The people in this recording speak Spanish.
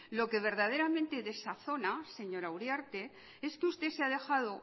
lo que verdaderamente desazona señora uriarte es que usted se ha dejado